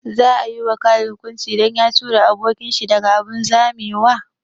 Za a yi wa Khalid hukunci dan ya tura abokin shi daga abun zamewa?